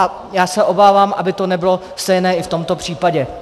A já se obávám, aby to nebylo stejné i v tomto případě.